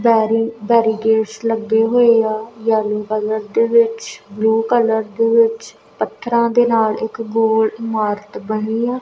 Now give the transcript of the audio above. ਬੈਰੀ barricades ਲੱਗੇ ਹੋਏ ਆ ਯੈਲੋ ਕਲਰ ਦੇ ਵਿੱਚ ਬਲੂ ਕਲਰ ਦੇ ਵਿੱਚ ਪੱਥਰਾਂ ਦੇ ਨਾਲ ਇੱਕ ਗੋਲ ਇਮਾਰਤ ਬਣੀ ਆ।